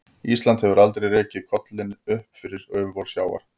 Ísland hefur aldrei rekið kollinn upp fyrir yfirborð sjávar.